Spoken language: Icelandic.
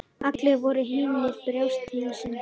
Allir voru hinir bjartsýnustu.